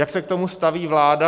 Jak se k tomu staví vláda?